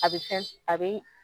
a be fɛn a be